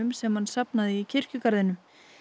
sem hann safnaði í kirkjugarðinum